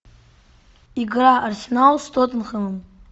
игра арсенал с тоттенхэмом